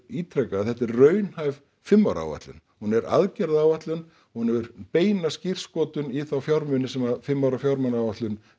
ítreka að þetta er raunhæf fimm ára áætlun hún er aðgerðaáætlun hún hefur beina skírskotun í þá fjármuni sem fimm ára fjármálaáætlun